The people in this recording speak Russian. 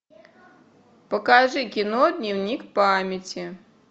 покажи кино дневник памяти